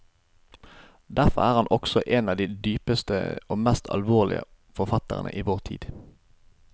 Derfor er han også en av de dypeste og mest alvorlige forfatterne i vår tid.